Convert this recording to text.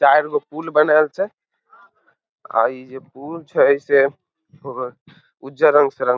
चार गो पुल बनल छै आ ई जे पुल छै से उज्जर रंग से रंगल --